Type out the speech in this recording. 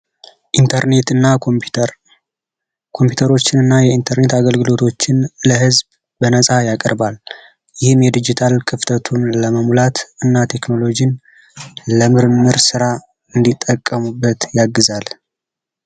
ኢንተርኔትና ኮምፒውተር፤ የኢንተርኔት እና ኮምፒዩተር አገልግሎቶችን ለህዝብ በነጻ ያቀርባል። ይህም የዲጂታል ክፍተቱን ለመሙላት እና ቴክኖሎጂ ለምርም ስራ እንዲጠቀሙበት ያግዛል።